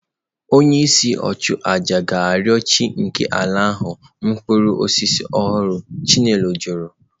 Onyeisi nchụàjà ga-arịọ chi nke ala ahụ mkpụrụ osisi ọhụrụ"" chinelo kwuru"